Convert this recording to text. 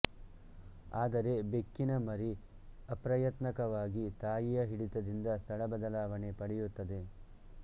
ಆದರೆ ಬೆಕ್ಕಿನಮರಿ ಅಪ್ರಯತ್ನಕವಾಗಿ ತಾಯಿಯ ಹಿಡಿತದಿಂದ ಸ್ಥಳ ಬದಲಾವಣೆ ಪಡೆಯುತ್ತದೆ